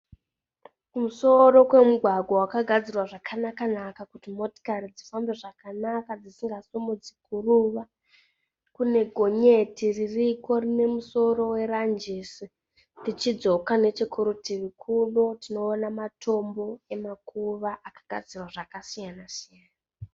Kumusoro kwemugwagwa wakagadzira zvakanaka-naka. kuti motokari dzifambe zvakanaka dzisingasimudzi guruva. Kune gonyeti ririko rine musoro weranjisi. Tichidzoka nechekurutivi kuno tinoona matombo emakuva akagadzirwa zvakasiyana-siyana.